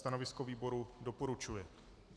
Stanovisko výboru - doporučuje.